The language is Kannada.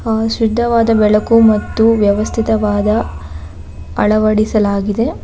ಆ ಶ್ರದ್ಧವಾದ ಬೆಳಕು ಮತ್ತು ವ್ಯವಸ್ಥಿತವಾದ ಅಳವಡಿಸಲಾಗಿದೆ.